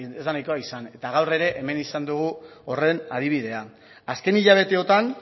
izan eta gaur ere hemen izan dugu horren adibidea azken hilabeteotan